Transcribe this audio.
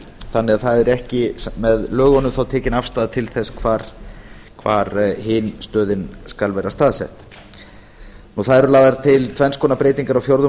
þannig að það er ekki þá með lögunum tekin afstaða til þess hvar hin stöðin skal vera staðsett lagðar eru til tvenns konar breytingar á fjórðu